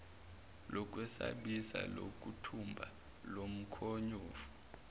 lokwesabisa lokuthumba lomkhonyovu